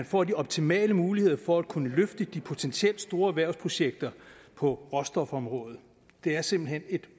får de optimale muligheder for at kunne løfte de potentielt store erhvervsprojekter på råstofområdet det er simpelt hen et